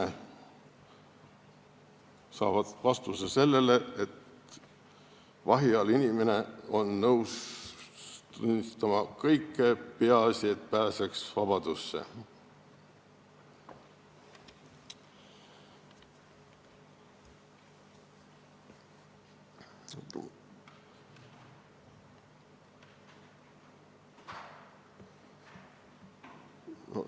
Nad saavad teada, et vahi all olev inimene on nõus tunnistama kõike, peaasi, et pääseks vabadusse.